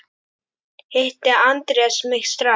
Hitti Andrés mig strax.